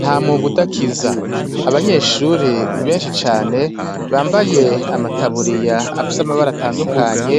Nta mwuga udakiza. Abanyeshuri benshi cane, bambaye amataburiya afise amabara atandukanye,